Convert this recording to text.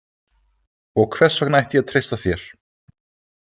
Og hvers vegna ætti ég að treysta þér?